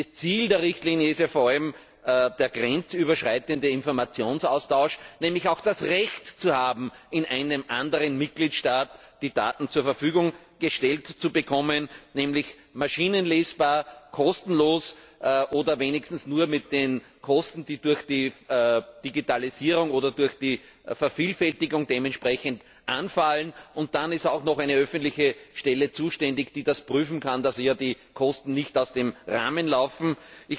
Das Ziel der Richtlinie ist ja vor allem der grenzüberschreitende Informationsaustausch, nämlich das Recht zu haben, in einem anderen Mitgliedstaat die Daten zur Verfügung gestellt zu bekommen, und zwar maschinenlesbar, kostenlos oder wenigstens nur zu Kosten, die durch die Digitalisierung oder durch die Vervielfältigung anfallen. Dann ist auch noch eine öffentliche Stelle zuständig, die überprüfen kann, dass die Kosten nicht aus dem Rahmen fallen.